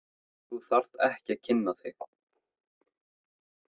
Þú þarft ekki að kynna þig.